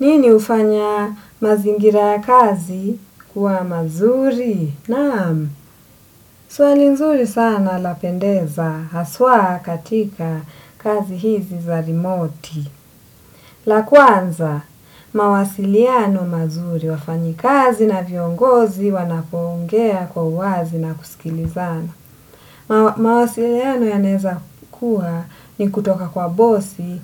Nini hufanya mazingira ya kazi kuwa mazuri? Naam, swani nzuri sana lapendeza, haswa katika kazi hizi za remote. La kwanza, mawasiliano mazuri wafanya kazi na viongozi wanapoongea kwa uwazi na kusikilizana. Mawasiliano yanaweza kuwa ni kutoka kwa bosi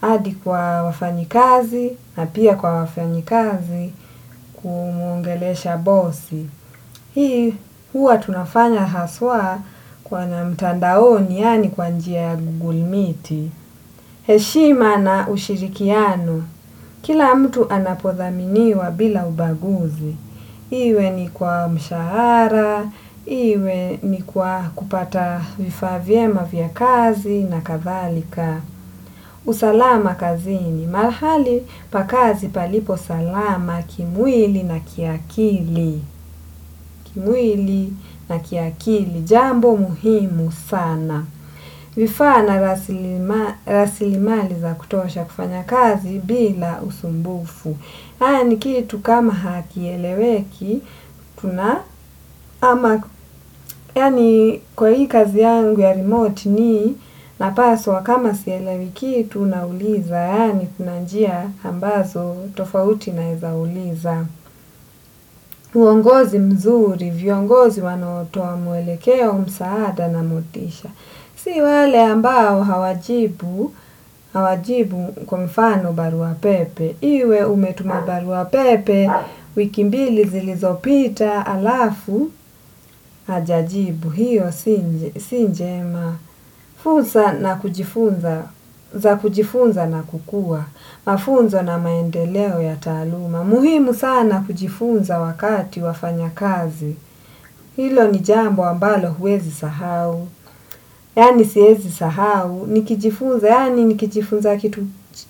hadi kwa wafanya kazi na pia kwa wafanya kazi kungelesha bosi. Hii huwa tunafanya haswa kwenye mtandaoni yani kwa njia gugulmiti. Heshima na ushirikiano. Kila mtu anapothaminiwa bila ubaguzi. Iwe ni kwa mshahara, iwe ni kwa kupata vifaa vyema vya kazi na kadhalika. Usalama kazini. Malahali pa kazi palipo salama ki mwili na ki akili. Kimwili na kiakili. Jambo muhimu sana. Vifaa na rasilimali za kutosha kufanya kazi bila usumbufu. Haya ni kitu kama hakieleweki, kwa hii kazi yangu ya remote mimi napaswa kama sielewi kitu nauliza. Au kuna njia ambazo tofauti naweza uliza. Uongozi mzuri, viongozi wanaotoa muelekeo, msaada na motisha. Si wale ambao hawajibu kwa mfano barua pepe, iwe umetuma barua pepe, wiki mbili zilizopita alafu hajajibu, hiyo si njema fursa za kujifunza na kukua, mafunzo na maendeleo ya taaluma. Muhimu sana kujifunza wakati wafanya kazi. Hilo ni jambo ambalo huwezi sahau. Yani siwezi sahau. Nikijifunza kitu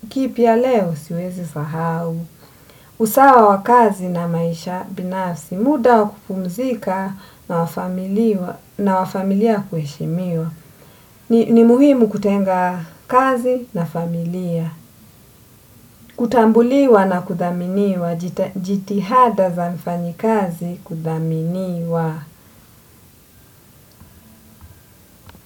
kipya leo siwezi sahau. Usawa wa kazi na maisha binafsi. Muda wa kupumzika na wa familia kuheshimiwa. Ni muhimu kutenga kazi na familia. Kutambuliwa na kuthaminiwa jitihada za mfanya kazi kuthaminiwa.